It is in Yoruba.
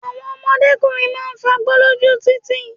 Àwọn òdọ́mọkùnrin máa ń fagbó lóju títì.